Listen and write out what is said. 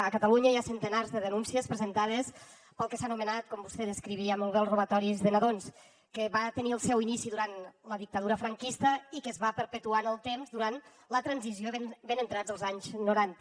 a catalunya hi ha centenars de denúncies presentades pel que s’ha anomenat com vostè descrivia molt bé els robatoris de nadons que va tenir el seu inici durant la dictadura franquista i que es va perpetuar en el temps durant la transició i ben entrats els anys noranta